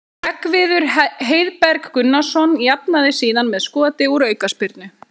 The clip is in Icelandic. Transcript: Hreggviður Heiðberg Gunnarsson jafnaði síðan með skoti úr aukaspyrnu.